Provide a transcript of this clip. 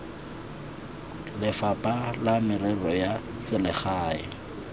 lefapha la merero ya selegae